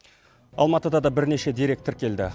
алматыда да бірнеше дерек тіркелді